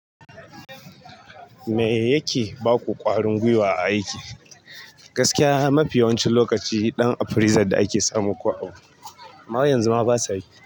Me yake baku ƙwarin gwiwa a aiki? Gaskiya mafi yawancin lokaci ɗan appraiser da ake samu ko abu amma yanzu ma basa yi.